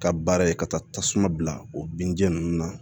Ka baara ye ka taa tasuma bila o binja ninnu na